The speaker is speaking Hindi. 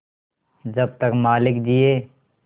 जब तक मालिक जिये